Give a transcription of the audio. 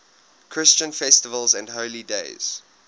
christian festivals and holy days